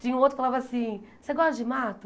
Tinha um outro que falava assim, você gosta de mato?